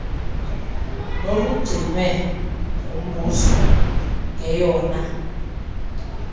nolugcinwe ngumbuso ngeyona